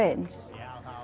eins